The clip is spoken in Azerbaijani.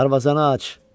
Darvazanı aç!